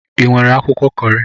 Ị nwere akwụkwọ Kọri?